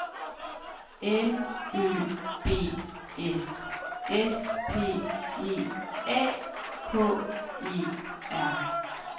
L Ø B S S P E A K E R